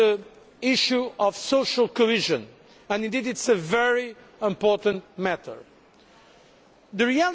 Some of you insisted on the issue of social cohesion. Indeed it is a very important matter.